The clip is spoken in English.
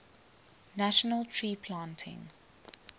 national tree planting